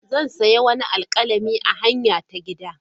Zan sayi wani alkalami a hanyara ta gida.